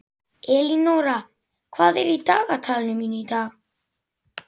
Elínóra, hvað er í dagatalinu mínu í dag?